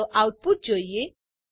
ચાલો આઉટપુટ જોઈએ